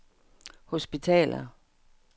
hospitaler